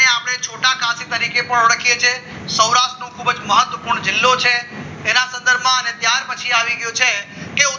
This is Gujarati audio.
એને આપણે છોટા કાશી તરીકે પણ ઓળખે છે સૌરાષ્ટ્રનું ખૂબ જ મહત્વપૂર્ણ જિલ્લો છે એના સંદર્ભમાં ત્યાર પછી આવી ગયો છે કે